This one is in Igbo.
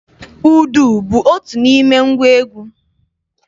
Udu bụ otu n'ime ngwa egwu.